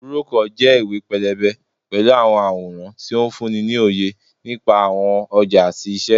Búrókọ̀ jẹ́ ìwé-pélébé pẹ̀lú àwọn àwòrán tó ń fúnni ní òye nípa àwọn ọjà àti iṣẹ́